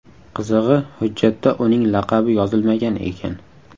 Qizig‘i, hujjatda uning laqabi yozilmagan ekan.